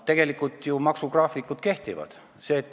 Tegelikult ju maksugraafikud kehtivad.